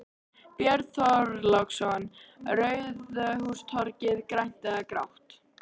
Björn Þorláksson: Ráðhústorgið, grænt eða grátt?